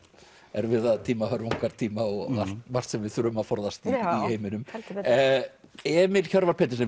erfiða tíma hörmungartíma og margt sem við þurfum að forðast í heiminum heldur betur Emil Hjörvar Petersen